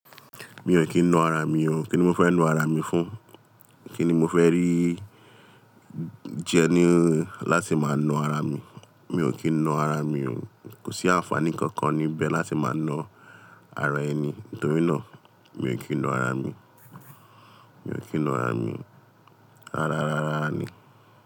Mi ò kí ń na ara mi o. Kí ni mo fẹ́ na ara mi fún? Kí ni mo fẹ́ rí jẹ ní láti máa na ara mi? Mi ò kí ń na ara mi o. Kò sí àǹfààní kankan níbẹ̀ láti máa na ara ẹni. Nítorí náà, mi ò kí ń na ara mi. Mi ò kí ń na ara mi. Rárá, rárá ni.